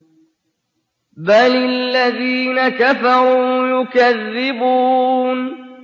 بَلِ الَّذِينَ كَفَرُوا يُكَذِّبُونَ